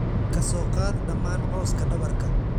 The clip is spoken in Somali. ka soo qaad dhammaan cawska dhabarka.